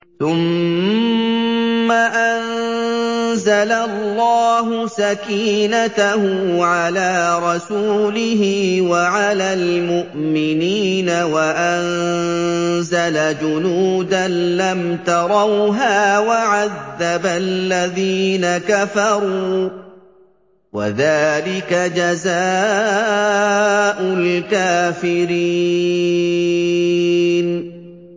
ثُمَّ أَنزَلَ اللَّهُ سَكِينَتَهُ عَلَىٰ رَسُولِهِ وَعَلَى الْمُؤْمِنِينَ وَأَنزَلَ جُنُودًا لَّمْ تَرَوْهَا وَعَذَّبَ الَّذِينَ كَفَرُوا ۚ وَذَٰلِكَ جَزَاءُ الْكَافِرِينَ